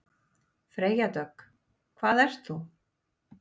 Freyja Dögg: Hvað ert þú?